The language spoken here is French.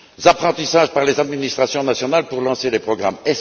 apprentissages par les administrations nationales pour lancer les programmes.